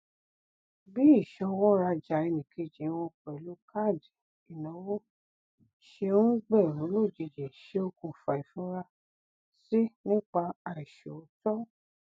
bí ìṣọwọ rajà ẹnìkejì wọn pẹlú káàdì ìnáwó ṣe um gbèrú lójijì ṣe okùnfà ìfurasí nípa àìṣòótọ